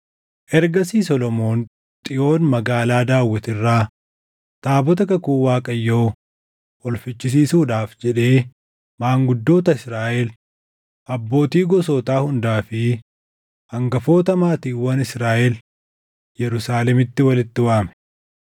Ergasii Solomoon Xiyoon magaalaa Daawit irraa taabota kakuu Waaqayyoo ol fichisiisuudhaaf jedhee maanguddoota Israaʼel, abbootii gosootaa hundaa fi hangafoota maatiiwwan Israaʼel Yerusaalemitti walitti waame.